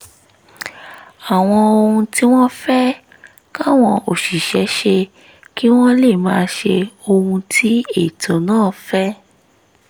àwọn ohun tí wọ́n fẹ́ káwọn òṣìṣẹ́ ṣe kí wọ́n lè máa ṣe ohun tí ètò náà fẹ́